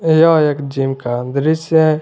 यह एक जिम का दृश्य है।